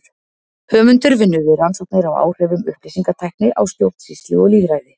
Höfundur vinnur við rannsóknir á áhrifum upplýsingatækni á stjórnsýslu og lýðræði.